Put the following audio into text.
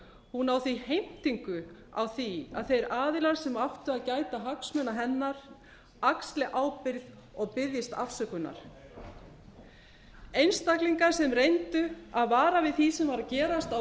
hún á því heimtingu á því að þeir aðilar sem áttu að gæta hagsmuna hennar axli ábyrgð og biðjist afsökunar einstaklingar sem reyndu að vara við því sem var að gerast á